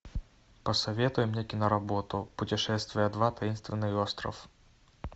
посоветуй мне киноработу путешествие два таинственный остров